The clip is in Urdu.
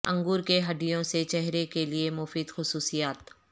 انگور کے ہڈیوں سے چہرے کے لئے مفید خصوصیات